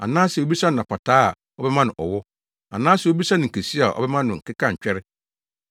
anaasɛ obisa no apataa a ɔbɛma no ɔwɔ, anaasɛ obisa nkesua a ɔbɛma no akekantwɛre?